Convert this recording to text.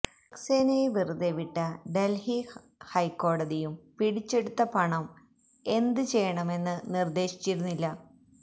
സക്സേനയെ വെറുതെ വിട്ട ഡല്ഹി ഹൈക്കോടതിയും പിടിച്ചെടുത്ത പണം എന്ത് ചെയ്യണമെന്ന് നിര്ദേശിച്ചിരുന്നില്ല